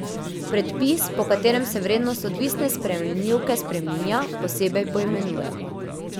Predpis, po katerem se vrednost odvisne spremenljivke spreminja, posebej poimenujemo.